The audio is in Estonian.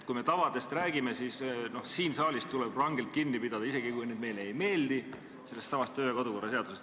Kui me tavadest räägime, siis siin saalis tuleb rangelt kinni pidada, isegi kui need sätted meile ei meeldi, sellestsamast kodu- ja töökorra seadusest.